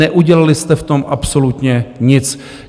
Neudělali jste v tom absolutně nic.